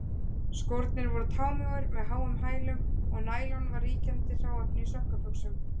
Skórnir voru támjóir með háum hælum, og nælon var ríkjandi hráefni í sokkabuxum.